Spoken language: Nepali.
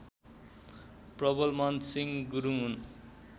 प्रबलमानसिंह गुरुङ हुन्